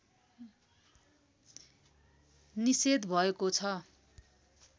निषेध भएको छ